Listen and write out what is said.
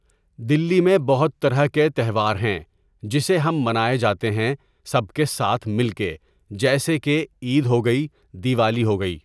دِلّی میں بہت طرح کے تہوار ہیں جسے ہم منائے جاتے ہیں سب کے ساتھ مِل کے جیسے کہ عید ہو گئی دیوالی ہو گئی.